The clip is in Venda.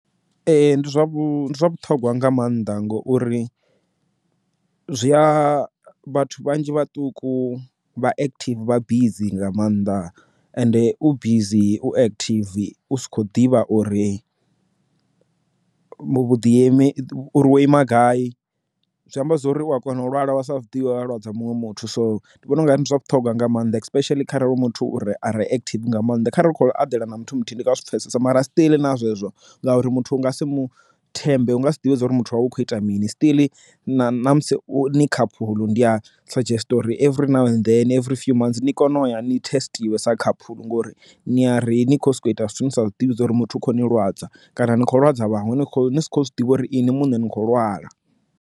Ee ndi zwa vhuṱhogwa nga maanḓa ngori zwia vhathu vhanzhi vhaṱuku vha active vha bizi nga maanḓa ende u bizi u active u sa kho ḓivha uri uri wo ima gai zwi amba zwori u a kona u lwala vha sa zwidivhe wa lwadza muṅwe muthu so ndi vhona ungari ndi zwa vhuṱhogwa nga maanḓa especially kharali hu muthu uri arali active nga maanḓa kha ri khou eḓela na muthu muthu ndi nga si pfesese mara a still na zwezwo ngauri muthu u nga si mu thembi u nga si ḓivhe uri muthu wa vha u kho ita mini still na ṋamusi ni khaphulu ndi a suggest uri H_I_V na every few and then ni kone u ya ni thesiṱisa khaphulu ngori ni ya ri ni kho soko ita zwithu ni sa ḓivhi uri muthu kho ni lwadza kana ni kho lwadza vhaṅwe ni kho zwi ḓivha uri inwi muṋe ni kho lwala.